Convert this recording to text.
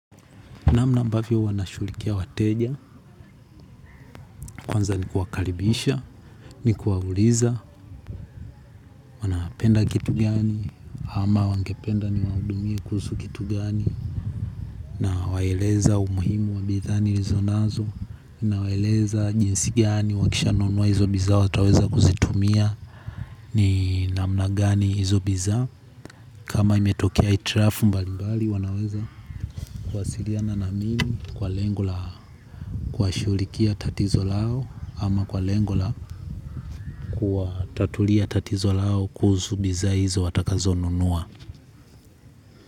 Namna ambavyo huwa nashughulikia wateja, kwanza ni kuwakalibisha, ni kuwauliza, wanapenda kitu gani, ama wangependa ni waudumie kuusu kitu gani. Na waeleza umuhimu wa bidhaa ni rizo nazo, na waeleza jinsi gani, wakisha nunua hizo biza wataweza kuzitumia ni namna gani hizo biza. Kama imetokea hitrafu mbali mbali wanaweza kuwasiriana na mimi kwa lengo la kuwa shughulikia tatizo lao ama kwa lengo la kuwa tatulia tatizo lao kuhusu biza hizo watakazo nunua.